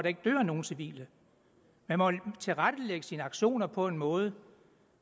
ikke dør nogen civile man må tilrettelægge sine aktioner på en måde